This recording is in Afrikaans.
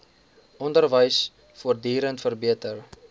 onderwys voortdurend verbeter